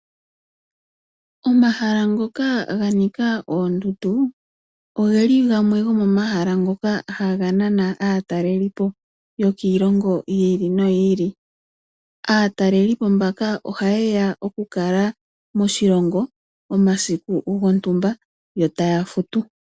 Omahala ngoka ga nika oondundu, oge li gamwe gomomahala ngoka haga nana aatalelipo yokiilongo yi ili noyi ili. Aatalelipo mbaka ohaye ya okukala moshilongo omasiku gontumba yo taa futu.